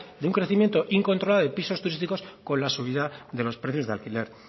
de un crecimiento incontrolado de pisos turísticos con la subida de los precios de alquiler